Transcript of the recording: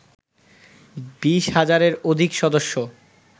২০ হাজারের অধিক সদস্য